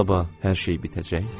Sabah hər şey bitəcək.